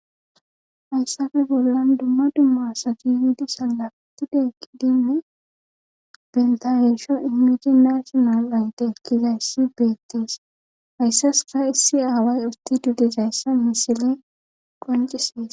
hayssafe bollan dumma dumma asati yidi salaftideekidinne bentaresho imiji naasional ayde ekkizayssi beettees hayssas a issi aaway usti dudizayssa misile qoncisees